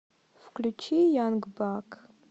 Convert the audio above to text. включи янг бак